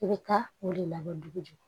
I bɛ taa o de labɔ dugu de